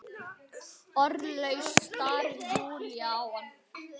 Orðlaus starir Júlía á hana.